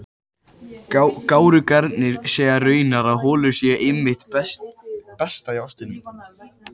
Gárungarnir segja raunar að holurnar séu einmitt það besta í ostinum.